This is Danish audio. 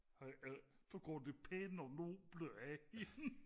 så går det pæne og noble af